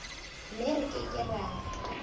mme re ke ke ra